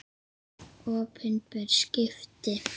Opinber skipti